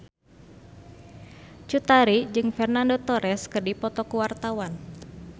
Cut Tari jeung Fernando Torres keur dipoto ku wartawan